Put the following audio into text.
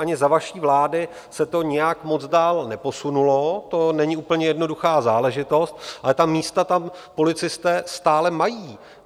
Ani za vaší vlády se to nijak moc dál neposunulo, to není úplně jednoduchá záležitost, ale ta místa tam policisté stále mají.